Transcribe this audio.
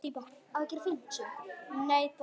Hvernig spes týpa?